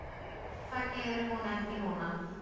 Það geri hún ekki núna.